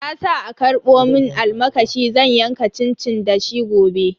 Na sa a karbo mun almakashi zan yanka cincin da shi gobe.